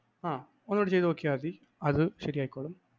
ആ ഒന്നുകുടി ചെയ്തു നോക്കിയാല്‍ മതി അത് ശരിയായിക്കൊള്ളും.